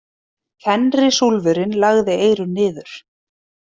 Fenrisúlfurinn lagði eyrun niður.